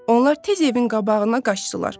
Onlar tez evin qabağına qaçdılar.